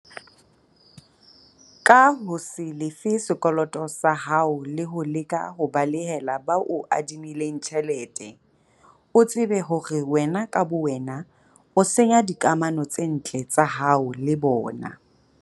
Ka ho se lefe sekoloto sa hao le ho leka ho balehela ba o adimileng tjhelete, o tsebe hore ka bowena o senya dikamano tse ntle tsa hao le bona.